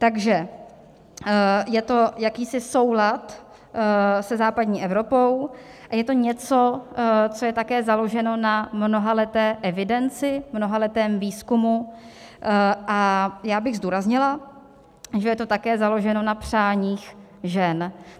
Takže je to jakýsi soulad se západní Evropou a je to něco, co je také založeno na mnohaleté evidenci, mnohaletém výzkumu, a já bych zdůraznila, že je to také založeno na přáních žen.